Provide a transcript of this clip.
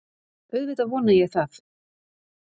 Auðvitað vona ég það